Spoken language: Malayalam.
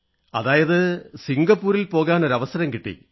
അതായത് സിംഗപ്പൂരിൽ പോകാനൊരു അവസരം കിട്ടി